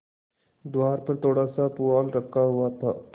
द्वार पर थोड़ासा पुआल रखा हुआ था